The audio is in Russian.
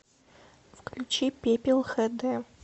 включи пепел хэ дэ